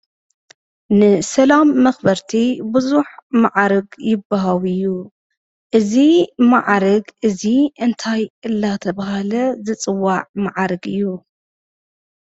ንሰላም መኽበርቲ ቡዙሕ ማዕርግ ይወሃብ እዩ። እዚ ማዕርግ እዚ እንታይ እናተብሃለ ዝፅዋዕ ማዕርግ እዩ?